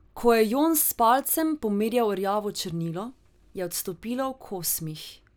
Ko je Jon s palcem pomel rjavo črnilo, je odstopilo v kosmih.